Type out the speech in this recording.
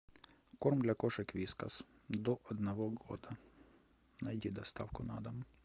корм для кошек вискас до одного года найди доставку на дом